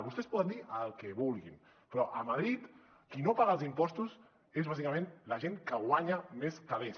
vostès poden dir el que vulguin però a madrid qui no paga els impostos és bàsicament la gent que guanya més calés